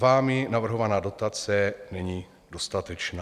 Vámi navrhovaná dotace není dostatečná.